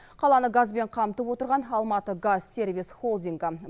қаланы газбен қамтып отырған алматыгазсервис холдингі